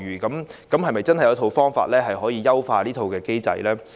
政府有否方法可以優化這套機制？